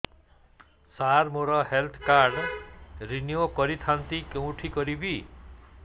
ସାର ମୋର health card renew କରିଥାନ୍ତି କେଉଁଠି କରିବି